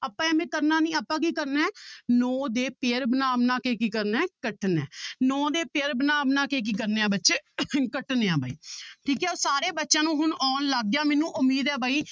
ਆਪਾਂ ਇਵੇਂ ਕਰਨਾ ਨੀ ਆਪਾਂ ਕੀ ਕਰਨਾ ਹੈ ਨੋਂ ਦੇ pair ਬਣਾ ਬਣਾ ਕੇ ਕੀ ਕਰਨਾ ਹੈ ਕੱਟਣਾ ਹੈ ਨੋਂ ਦੇ pair ਬਣਾ ਬਣਾ ਕੇ ਕੀ ਕਰਨਾ ਹੈ ਬੱਚੇ ਕੱਟਣੇ ਆਂ ਬਾਈ ਠੀਕ ਹੈ ਸਾਰੇ ਬੱਚਿਆਂ ਨੂੰ ਹੁਣ ਆਉਣ ਲੱਗ ਗਿਆ ਮੈਨੂੰ ਉਮੀਦ ਹੈ ਬਾਈ